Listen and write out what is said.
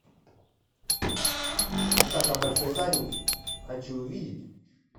атака большой задницы хочу увидеть